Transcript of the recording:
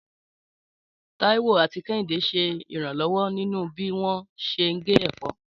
Táíwò àti Kẹ́hìndé ṣe ìrànlọ́wọ́ nínú bí wọ́n ṣe ń gé ẹ̀fọ́.